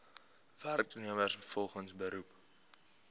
werknemers volgens beroep